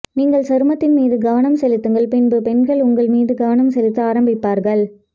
நீங்கள் சருமத்தின் மீது கவனம் செலுத்துங்கள்பின்பு பெண்கள் உங்கள் மீது கவனம் செலுத்த ஆரம்பிப்பார்கள்